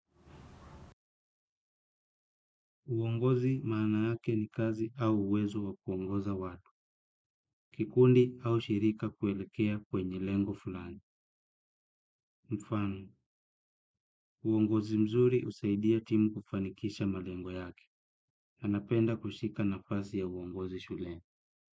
Uongozi maana yake ni kazi au uwezo wa kuongoza watu. Kikundi au shirika kuelekea kwenye lengo fulani. Mfank, uongozi mzuri husaidia timu kufanikisha malengo yake. Na napenda kushika nafasi ya uongozi shuleni.